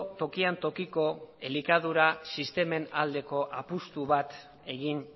tokian tokiko elikadura sistemen aldeko apustu bat egin